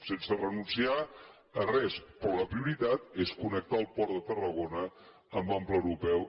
sense renunciar a res però la prioritat és connectar el port de tarragona amb l’ample europeu